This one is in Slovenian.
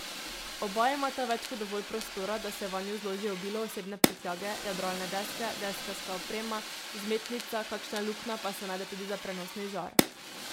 Oba imata več kot dovolj prostora, da se vanju zloži obilo osebne prtljage, jadralne deske, deskarska oprema, vzmetnica, kakšna luknja pa se najde tudi za prenosni žar.